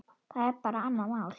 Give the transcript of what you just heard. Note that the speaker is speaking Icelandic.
Það er bara annað mál.